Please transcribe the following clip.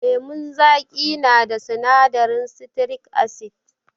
Lemun zaƙi na da sinadarin sitirik asid.